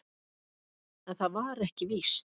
En það var ekki víst.